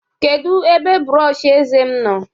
kedu ebe brọsh eze m nọ?